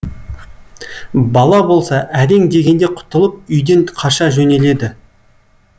бала болса әрең дегенде құтылып үйден қаша жөнеледі